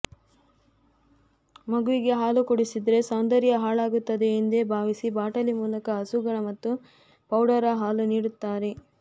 ಮಗುವಿಗೆ ಹಾಲು ಕುಡಿಸಿದರೆ ಸೌಂದರ್ಯ ಹಾಳಾಗುತ್ತದೆ ಎಂದೆ ಭಾವಿಸಿ ಬಾಟಲಿ ಮೂಲಕ ಹಸುಗಳ ಮತ್ತು ಪೌಡರ ಹಾಲು ನೀಡುತ್ತಾರೆ